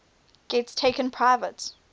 gets taken private